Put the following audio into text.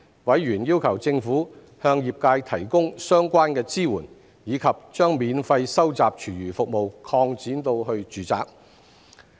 委員要求政府向業界提供相關支援，以及將免費收集廚餘服務擴展至住宅。